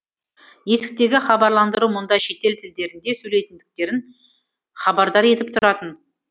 есіктегі хабарландыру мұнда шетел тілдерінде сөйлейтіндіктерін хабардар етіп тұратын